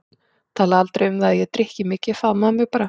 Talaði aldrei um það hvað ég drykki mikið, faðmaði mig bara.